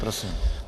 Prosím.